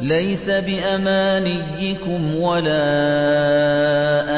لَّيْسَ بِأَمَانِيِّكُمْ وَلَا